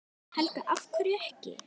Helga: Af hverju ekki?